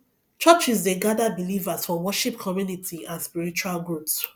churches dey gather believers for worship community and spiritual growth